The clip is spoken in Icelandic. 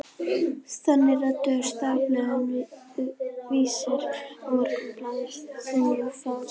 Þannig reyndust dagblöðin Vísir og Morgunblaðið þeim mjög fjandsamleg.